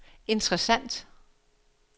interessant